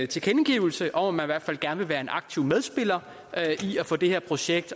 tilkendegivelse om at man i hvert fald gerne vil være en aktiv medspiller i at få det her projekt